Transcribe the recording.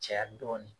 Caya dɔɔnin